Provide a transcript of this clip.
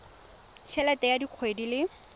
t helete ya kgwedi le